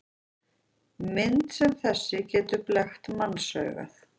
Mynd sem þessi getur blekkt mannsaugað.